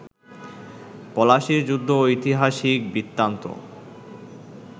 পলাশির যুদ্ধ ঐতিহাসিক বৃত্তান্ত